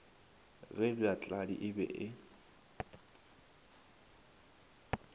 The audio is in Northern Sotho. ge bjatladi e be e